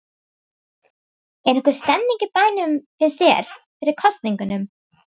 Linda: Er einhver stemning í bænum, finnst þér, fyrir kosningunum?